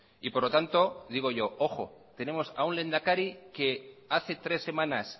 y por lo tanto digo yo ojo tenemos a un lehendakari que hace tres semanas